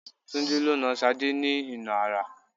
Tunde lo nà Sade ní ìnà ara